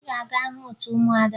Ị ga-aga hụ otu ụmụada!